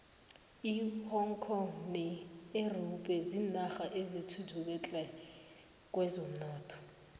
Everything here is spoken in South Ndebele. ihong kong ne europe zinarha ezithuthuke tle kwezomnotho